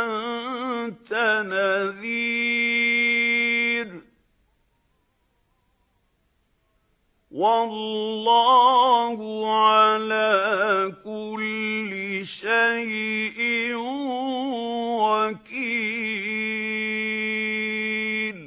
أَنتَ نَذِيرٌ ۚ وَاللَّهُ عَلَىٰ كُلِّ شَيْءٍ وَكِيلٌ